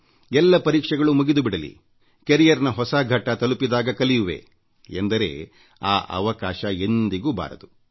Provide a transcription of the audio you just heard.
ಎಲ್ಲ ಪರೀಕ್ಷೆಗಳು ಮುಗಿದು ಬಿಡಲಿ ಜೀವನ ಭವಿಷ್ಯ ಹೊಸ ಘಟ್ಟ ತಲುಪಿದಾಗ ಕಲಿಯುವೆ ಎಂದರೆ ಆ ಅವಕಾಶ ಎಂದಿಗೂ ಬಾರದು